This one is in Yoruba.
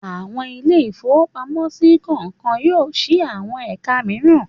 Àwọn ilé-ìfowópamọ́sí kọ̀ọ̀kan yóò ṣí àwọn ẹ̀ka mìíràn.